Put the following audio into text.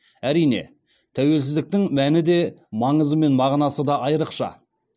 әрине тәуелсіздіктің мәні де маңызы мен мағынасы да айрықша